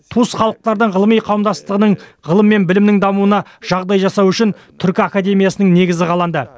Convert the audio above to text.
туыс халықтардың ғылыми қауымдастығының ғылым мен білімінің дамуына жағдай жасау үшін түркі академиясының негізі қаланды